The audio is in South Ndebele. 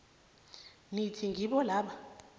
nithi ngibo laba